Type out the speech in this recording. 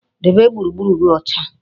Debe gburugburu gi ocha